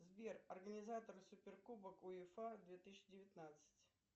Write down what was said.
сбер организатор суперкубок уефа две тысячи девятнадцать